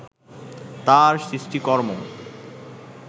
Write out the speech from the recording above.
তার সৃষ্টিকর্ম